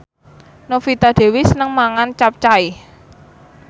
Novita Dewi seneng mangan capcay